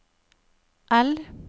L